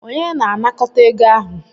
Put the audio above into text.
Onye na anakọta ego ahụ?